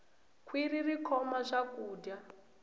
khwirhi ri khoma swakudya